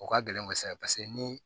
O ka gɛlɛn kosɛbɛ paseke ni